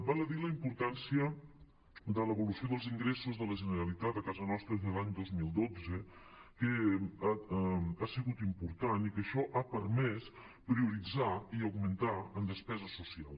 val a dir la importància de l’evolució dels ingressos de la generalitat a casa nostra des de l’any dos mil dotze que ha sigut important i que això ha permès prioritzar i augmentar en despesa social